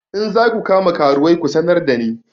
In za ku kama karuwai ku sanar da ni!